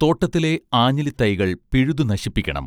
തോട്ടത്തിലെ ആഞ്ഞിലിത്തൈകൾ പിഴുതു നശിപ്പിക്കണം